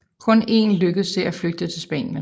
Kun én lykkedes det at flygte til Spanien